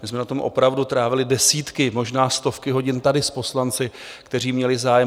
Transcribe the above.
My jsme na tom opravdu trávili desítky, možná stovky, hodin tady s poslanci, kteří měli zájem.